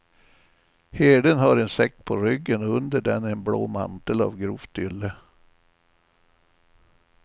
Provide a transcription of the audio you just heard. Herden har en säck på ryggen och under den en blå mantel av grovt ylle.